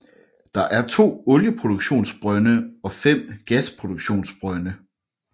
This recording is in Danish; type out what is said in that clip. Der er 2 olieproduktionsbrønde og 5 gasproduktionsbrønde